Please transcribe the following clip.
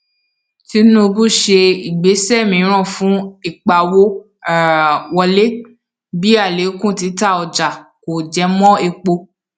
tinubu ṣe ìgbésẹ míràn fún ìpawó um wọlé bí alekun títà ọjà kò jẹmọ èpo